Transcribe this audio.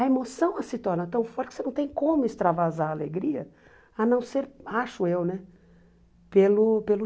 A emoção se torna tão forte que você não tem como extravasar a alegria, a não ser, acho eu né, pelo pelo